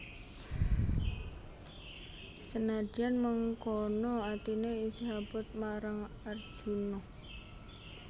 Senadyan mengkono atiné isih abot marang Arjuna